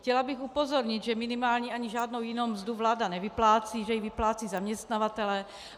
Chtěla bych upozornit, že minimální ani žádnou jinou mzdu vláda nevyplácí, že ji vyplácejí zaměstnavatelé.